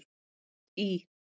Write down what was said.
Hátt í